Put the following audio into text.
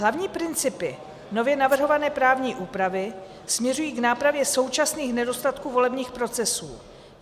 Hlavní principy nově navrhované právní úpravy směřují k nápravě současných nedostatků volebních procesů.